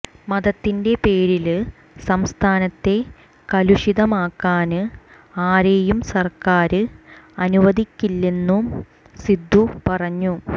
മതത്തിന്റേ പേരില് സംസ്ഥാനത്തെ കലുഷിതമാക്കാന് ആരെയും സര്ക്കാര് അനുവദിക്കില്ലെന്നും സിദ്ദു പറഞ്ഞു